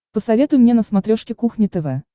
посоветуй мне на смотрешке кухня тв